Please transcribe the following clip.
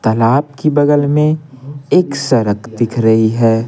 तालाब की बगल में एक सड़क दिख रही है।